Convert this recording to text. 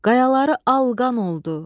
Qayaları al qan oldu.